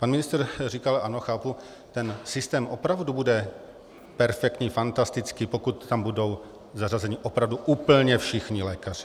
Pan ministr říkal, ano chápu, ten systém opravdu bude perfektní, fantastický, pokud tam budou zařazeni opravdu úplně všichni lékaři.